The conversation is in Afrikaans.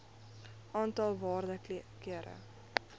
aantal waarde kere